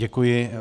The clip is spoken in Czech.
Děkuji.